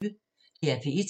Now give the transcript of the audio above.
DR P1